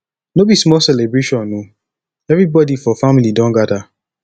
no be small celebration o everybodi for family don gada